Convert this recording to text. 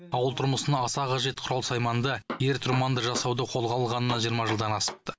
ауыл тұрмысына аса қажет құрал сайманды ер тұрманды жасауды қолға алғанына жиырма жылдан асыпты